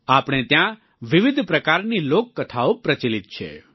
આપણે ત્યાં વિવિધ પ્રકારની લોક કથાઓ પ્રચલિત છે